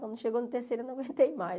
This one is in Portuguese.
Quando chegou no terceiro eu não aguentei mais.